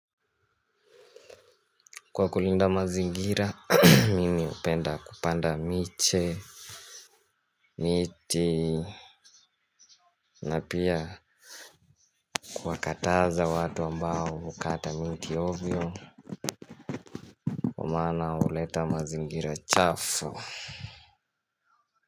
Kwa kulinda mazingira, mimi upenda kupanda miche, miti, na pia kuakataza watu ambao ukata miti ovyo, kwa maana uleta mazingira chafu.